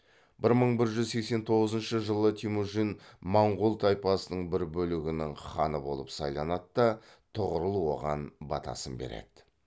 бір мың бір жүз сексен тоғызыншы жылы темүжін монғол тайпасының бір бөлігінің ханы болып сайланады да тұғырыл оған батасын береді